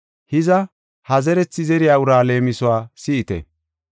“Hiza, ha zerethi zeriya uraa leemisuwa si7ite.